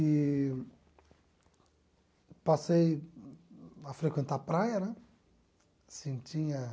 Eee passei a frequentar a praia, né? Assim tinha